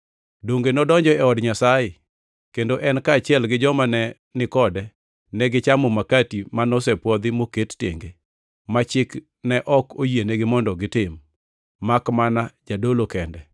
Donge nodonjo e od Nyasaye, kendo en kaachiel gi joma ne ni kode, negichamo makati ma nosepwodhi moket tenge, ma chik ne ok oyienegi mondo gitim, makmana jodolo kende